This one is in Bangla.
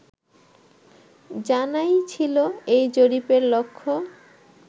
জানাই ছিলো এই জরিপের লক্ষ্য